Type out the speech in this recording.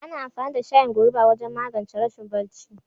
Ana amfani da shayin goruba wajen magance rashin barci.